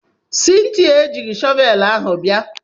Cynthia ejighị shọvelụ ahu bia.